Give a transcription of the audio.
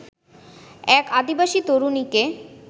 এক আদিবাসী তরুণীকে